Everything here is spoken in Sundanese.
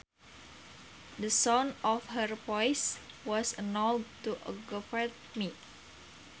The sound of her voice was enough to aggravate me